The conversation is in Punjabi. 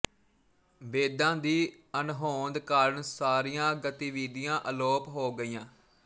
ਵੇਦਾਂ ਦੀ ਅਣਹੋਂਦ ਕਾਰਨ ਸਾਰੀਆਂ ਗਤੀਵਿਧੀਆਂ ਅਲੋਪ ਹੋ ਗਈਆਂ